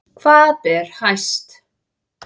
Hvað ber hæst